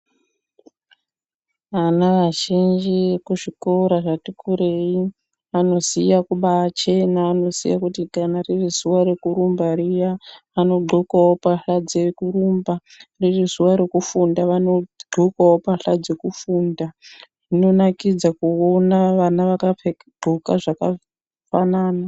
Ana azhinji ekuzvikora zvati kureyi ,anoziya kubachena, anoziya kuti kana riri zuwa rekurumba riya, anodxokawo pahla dzekurumba, riri zuwa rekufunda vanodxokawo pahla dzekufunda, zvinonakidza kuwona vana vakadxoka zvakafanana.